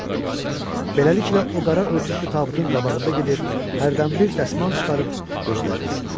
Beləliklə, o qara örtüklü tabutun qabağında gedir, hərdən bir dəsmal çıxarıb gözlərini silirdi.